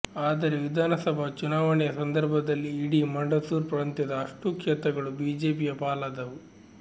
ಆದರೆ ವಿಧಾನಸಭಾ ಚುನಾವಣೆಯ ಸಂದರ್ಭದಲ್ಲಿ ಇಡೀ ಮಂಡಸೂರ್ ಪ್ರಾಂತದ ಅಷ್ಟೂ ಕ್ಷೇತ್ರಗಳು ಬಿಜೆಪಿಯ ಪಾಲಾದವು